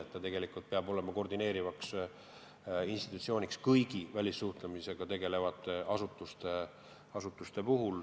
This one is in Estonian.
Ta peab tegelikult olema koordineeriv institutsioon ja sidemetes kõigi välissuhtlemisega tegelevate asutustega.